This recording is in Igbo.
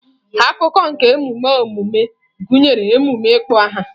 Akụkụ nke emume ọmụmụ gụnyere emume ịkpọ aha.